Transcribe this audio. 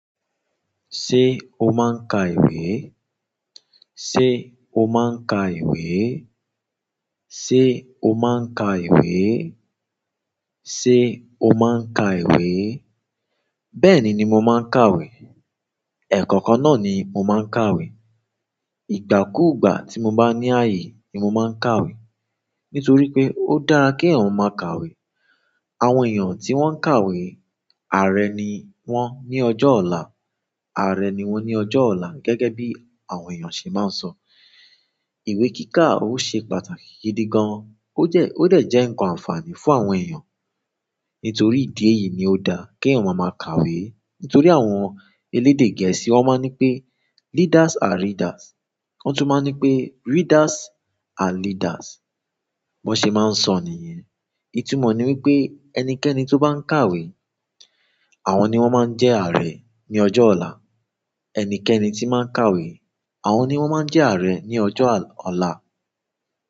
Ṣé o máa ń ka ìwé? Sé o máa ń ka ìwé? Sé o máa ń ka ìwé? Sé o máa ń ka ìwé? Bẹ́ẹ̀ni ni mo máa ń kàwé. Ekookan náà ni mo maa n kàwé ìgbàkúùgbà tí mo bá ní ayé ni mo máa ń kàwé. Nítorí pé ó dára kí eyàn máa ka ìwé. Àwọn èèyàn tí wọ́n ń kàwé, ààrẹ ni wọ́n ní ọjọ́ ọ̀la. Ààrẹ ni wọ́n ní ọjọ́ ọ̀la. Gẹ́gẹ́ bí àwọn èèyàn ṣe máa ń sọ, ìwé kíkà ó ṣe pàtàkì gidi gan. Ó jẹ́, ó de jẹ́ ǹkan ànfààní fún àwọn èèyàn. Nítorí ìdí èyí ni ó dára kí èèyàn máa ka ìwé. Nítorí àwọn elede gẹ̀ẹ́sì won maa n ni pe readers are leaders. Wọ́n tún máa ń ní pé "Readers are leaders". Bọ́n ṣe máa ń sọ níyẹn. Ìtumọ̀ ni wípé ẹnikẹ́ni tó bá ń kàwé, àwọn ni wọ́n máa ń jẹ ààrẹ ní ọjọ́ ọ̀la. Ẹnikẹ́ni tí máa ń kàwé, àwọn ni wọ́n máa ń jẹ ààrẹ ní ọjọ́ ọ̀la.